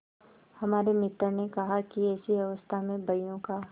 हमारे मित्र ने कहा कि ऐसी अवस्था में बहियों का